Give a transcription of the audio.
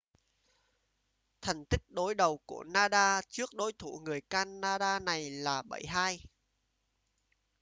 thành tích đối đầu của nadal trước đối thủ người canada này là 7-2